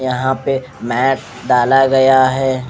यह payment डाला गया है।